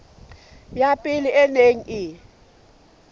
ya pele e neng e